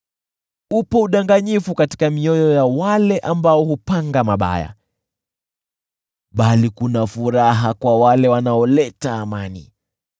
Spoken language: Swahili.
Upo udanganyifu katika mioyo ya wale ambao hupanga mabaya, bali kuna furaha kwa wale wanaoleta amani.